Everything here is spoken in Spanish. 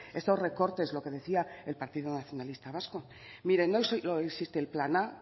estos recortes lo que decía el partido nacionalista vasco miren no solo existe el plan a